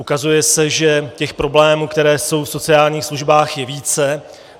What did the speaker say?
Ukazuje se, že těch problémů, které jsou v sociálních službách, je více.